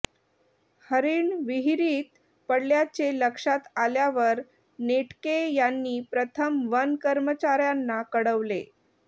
हरीण विहीरीत पडल्याचे लक्षात आल्यावर नेटके यांनी प्रथम वन कर्मचाऱ्यांना कळवले